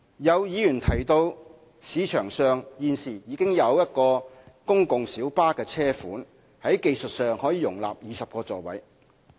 有議員提到，現時市場上已有一個公共小巴車款在技術上可容納20個座位。